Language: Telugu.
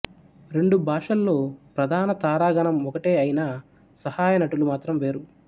రెండు భాషల్లో ప్రధాన తారాగణం ఒకటే అయినా సహాయ నటులు మాత్రం వేరు